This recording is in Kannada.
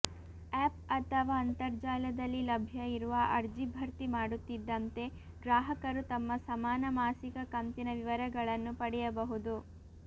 ಆ್ಯಪ್ ಅಥವಾ ಅಂತರ್ಜಾಲದಲ್ಲಿ ಲಭ್ಯ ಇರುವ ಅರ್ಜಿ ಭರ್ತಿ ಮಾಡುತ್ತಿದ್ದಂತೆ ಗ್ರಾಹಕರು ತಮ್ಮ ಸಮಾನ ಮಾಸಿಕ ಕಂತಿನ ವಿವರಗಳನ್ನು ಪಡೆಯಬಹುದು